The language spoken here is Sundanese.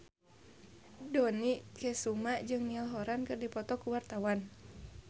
Dony Kesuma jeung Niall Horran keur dipoto ku wartawan